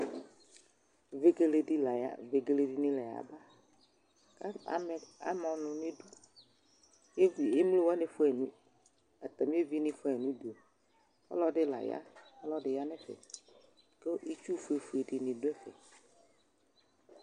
Ʋegeledi la ya, ʋegele ɖini la ya ba Ka ame ama ɔlù nu iɖu Iv, emlo waní fuayi nu uɖu, atami evini fua yi nu uɖu Ɔlɔɖi la ya, ɔlɔɖi la ya nu ɛfɛ Ku itsúh fue fue ɖini ɖu